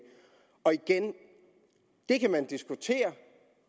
og igen det kan man diskutere